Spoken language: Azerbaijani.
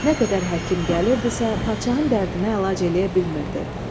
Nə qədər həkim gəlirdisə, padşahın dərdinə əlac eləyə bilmirdi.